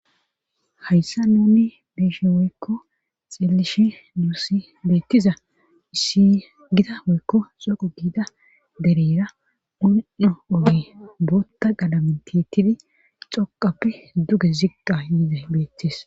hayssa nunni beeshe woykko xilishe duussi beettiza issi gida woykko xoqo giida dereyra un7o oge bootta galamentettidi xoqappe duge ziqqa yida beettis